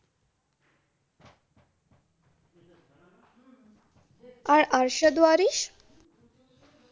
আর Arshad ওয়ারিস।